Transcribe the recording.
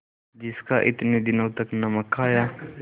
जिसका इतने दिनों तक नमक खाया